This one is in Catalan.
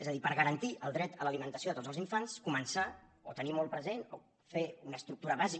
és a dir per garantir el dret a l’alimentació de tots els infants començar o tenir molt present o fer una estructura bàsica